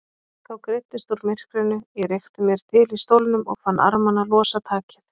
Þá greiddist úr myrkrinu, ég rykkti mér til í stólnum og fann armana losa takið.